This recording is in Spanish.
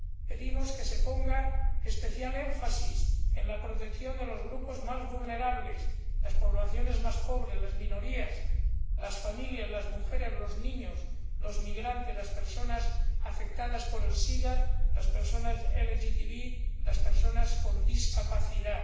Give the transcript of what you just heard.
Pedimos que se ponga especial énfasis en la protección de los grupos más vulnerables, las poblaciones más pobres, las minorías, las familias, las mujeres, los niños, los migrantes, las personas afectadas por el sida, las personas LGTB, las personas con discapacidad.